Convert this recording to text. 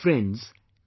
Friends,